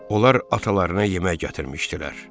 Onlar atalarına yemək gətirmişdilər.